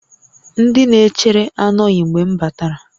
Ndị na-echere anọghị mgbe m batara